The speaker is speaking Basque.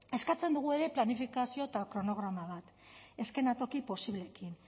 eskatzen dugu ere planifikazio eta kronograma bat eszenatoki posibleekin